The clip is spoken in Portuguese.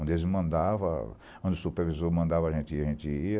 Onde eles me mandavam, onde o supervisor mandava a gente ir, a gente ia.